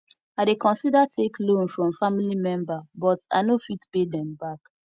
i dey consider take loan from family member but i no fit pay dem back